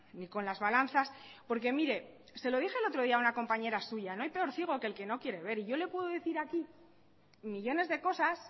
ni con las balanzas porque mire se lo dije el otro día a una compañera suya no hay peor ciego que el que no quiere ver y yo le puedo decir aquí millónes de cosas